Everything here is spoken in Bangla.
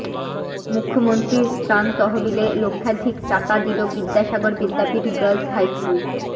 মুখ্যমন্ত্রীর ত্রাণ তহবিলে লক্ষাধিক টাকা দিল বিদ্যাসাগর বিদ্যাপীঠ গার্লস হাইস্কুল